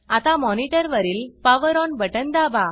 आता monitorमॉनिटर वरील power power on button दाबा